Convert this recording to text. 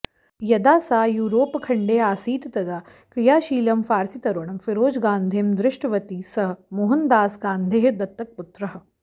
यदा सा युरोप्खण्डे आसीत् तदा क्रियाशीलं फार्सीतरुणं फिरोजगान्धिं दृष्टवती सः मोहनदासगान्धेः दत्तकपुत्रः